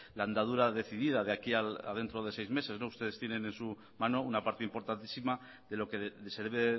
la andadura decidida de aquí a dentro de seis meses ustedes tienen en su mano una parte importantísima de lo que se debe